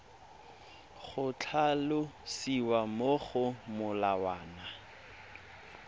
go tlhalosiwa mo go molawana